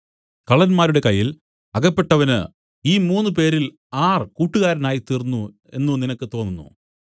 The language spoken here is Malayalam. കള്ളന്മാരുടെ കയ്യിൽ അകപ്പെട്ടവന് ഈ മൂന്നുപേരിൽ ആർ കൂട്ടുകാരനായിത്തീർന്നു എന്നു നിനക്ക് തോന്നുന്നു